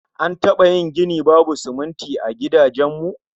An taba yin gini babu sumunti a gidajen mu?